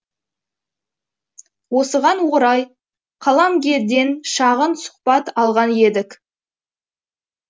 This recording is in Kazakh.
осыған орай қаламгерден шағын сұхбат алған едік